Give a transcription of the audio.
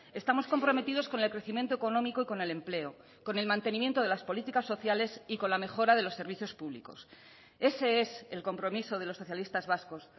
estamos comprometidos con el crecimiento económico y con el empleo con el mantenimiento de las políticas sociales y con la mejora de los servicios públicos ese es el compromiso de los socialistas vascos